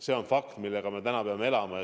See on fakt, millega me täna peame elama.